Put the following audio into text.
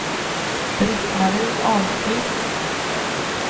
Britt-Marie Ahlqvist